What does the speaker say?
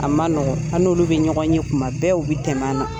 A ma nɔgɔ, ab nolu bɛ ɲɔgɔn ye kuma bɛɛ u bɛ tɛmɛ ani na.